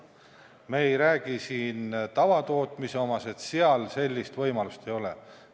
Me ei räägi siin tavatootmisest, seal sellist võimalust ei ole.